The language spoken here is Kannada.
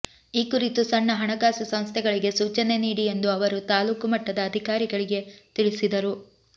ಈ ಕುರಿತು ಸಣ್ಣ ಹಣಕಾಸು ಸಂಸ್ಥೆಗಳಿಗೆ ಸೂಚನೆ ನೀಡಿ ಎಂದು ಅವರು ತಾಲೂಕು ಮಟ್ಟದ ಅಧಿಕಾರಿಗಳಿಗೆ ತಿಳಿಸಿದರು